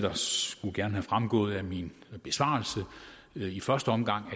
gerne være fremgået af min besvarelse i første omgang at